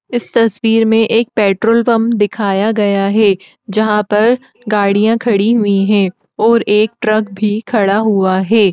इस तस्वीर में एक पेट्रोल पंप दिखाया गया है। जहाँं पर गाड़ियां खड़ी हुई है और एक ट्रक भी खड़ा हुआ है।